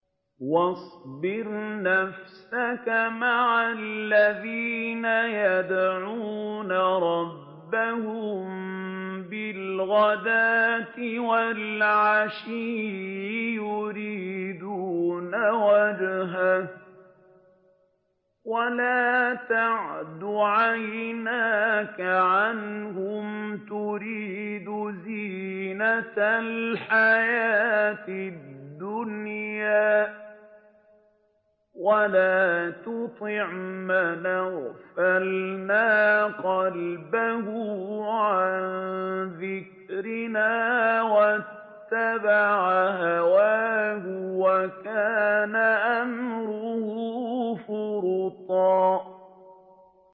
وَاصْبِرْ نَفْسَكَ مَعَ الَّذِينَ يَدْعُونَ رَبَّهُم بِالْغَدَاةِ وَالْعَشِيِّ يُرِيدُونَ وَجْهَهُ ۖ وَلَا تَعْدُ عَيْنَاكَ عَنْهُمْ تُرِيدُ زِينَةَ الْحَيَاةِ الدُّنْيَا ۖ وَلَا تُطِعْ مَنْ أَغْفَلْنَا قَلْبَهُ عَن ذِكْرِنَا وَاتَّبَعَ هَوَاهُ وَكَانَ أَمْرُهُ فُرُطًا